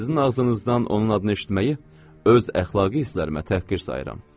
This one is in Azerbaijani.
Sizin ağzınızdan onun adını eşitməyi öz əxlaqi hisslərimə təhqir sayıram.